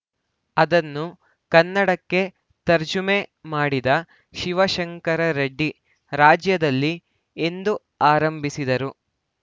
ಅದನ್ನು ಕನ್ನಡಕ್ಕೆ ತರ್ಜುಮೆ ಮಾಡಿದ ಶಿವಶಂಕರರೆಡ್ಡಿ ರಾಜ್ಯದಲ್ಲಿ ಎಂದು ಆರಂಭಿಸಿದರು